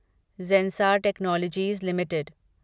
ज़ेसार technologies limited